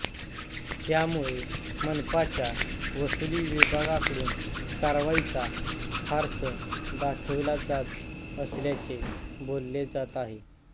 त्यामुळे मनपाच्या वसुली विभागाकडून कारवाईचा फार्स दाखविला जात असल्याचे बोलले जात आहे